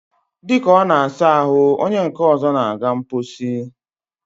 dịka ọ na-asa ahụ, onye nke ọzọ na-aga mkposi.